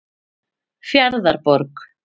Fjarðarborg